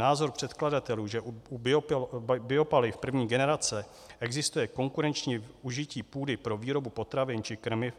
Názor předkladatelů, že u biopaliv první generace existuje konkurenční užití půdy pro výrobu potravin či krmiv,